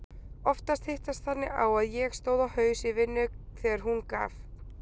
Oftast hittist þannig á að ég stóð á haus í vinnu þegar hún gaf